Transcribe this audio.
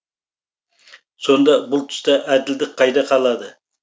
сонда бұл тұста әділдік қайда қалады